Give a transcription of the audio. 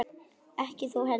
Ekki þú heldur.